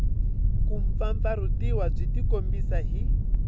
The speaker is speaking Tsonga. ku mpfampfarhutiwa byi tikombisa hi